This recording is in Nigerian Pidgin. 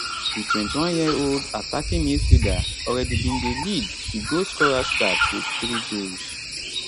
di 21yearold attacking midfielder already bin dey lead di goal scorers chart wit 3 goals